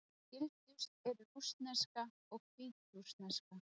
Skyldust eru rússneska og hvítrússneska.